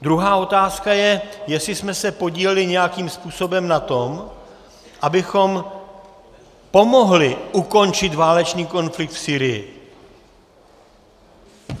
Druhá otázka je, jestli jsme se podíleli nějakým způsobem na tom, abychom pomohli ukončit válečný konflikt v Sýrii.